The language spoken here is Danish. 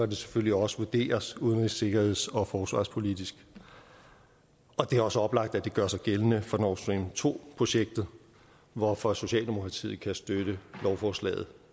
det selvfølgelig også vurderes udenrigs sikkerheds og forsvarspolitisk og det er også oplagt at det gør sig gældende for north stream to projektet hvorfor socialdemokratiet kan støtte lovforslaget